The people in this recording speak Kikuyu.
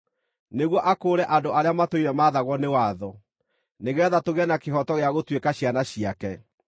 nĩguo akũũre andũ arĩa matũire mathagwo nĩ watho, nĩgeetha tũgĩe na kĩhooto gĩa gũtuĩka ciana ciake,